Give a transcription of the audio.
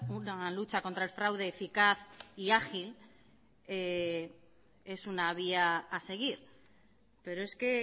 una lucha contra el fraude eficaz y ágil es una vía a seguir pero es que